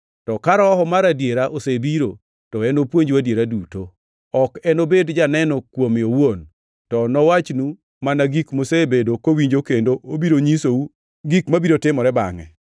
To ka Roho mar adiera, osebiro, to enopuonju adiera duto. Ok enobed janeno kuome owuon, to nowachnu mana gik mosebedo kowinjo kendo obiro nyisou gik mabiro timore bangʼe.